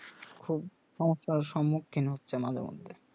খুব সমস্যার সম্মুক্ষীণ হচ্ছে মাঝে মধ্যে